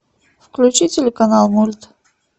включи телеканал мульт